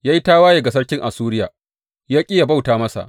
Ya yi tawaye ga sarkin Assuriya, ya ƙi yă bauta masa.